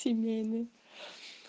семейный